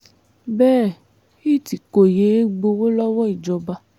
bẹ́ẹ̀ itt kò yéé gbowó lọ́wọ́ ìjọba